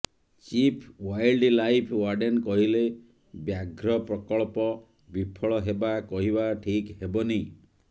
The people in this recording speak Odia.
ଚିଫ୍ ୱାଇଲ୍ଡ ଲାଇଫ୍ ୱାର୍ଡେନ କହିଲେ ବ୍ୟାଘ୍ର ପ୍ରକଳ୍ପ ବିଫଳ ହେବା କହିବା ଠିକ୍ ହେବନି